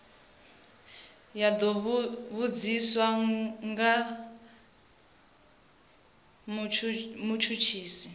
ya do vhudziswa nga mutshutshisi